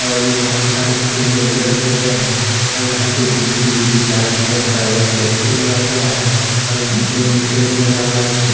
और भी बहोत सारे फ्रिज अंदर रखे गए हैं और यहां पर डिश टी_वी रिचार्ज हेयर का एक पोस्टर लगा हुआ है और दो भी लगा हुआ है उसके--